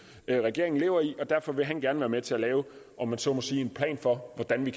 regeringen lever i og derfor vil han gerne være med til at lave om jeg så må sige en plan for hvordan vi